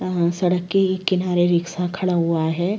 यहाँ सड़क के किनारे रिक्शा खड़ा हुआ है।